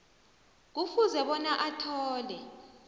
kufuze bona athole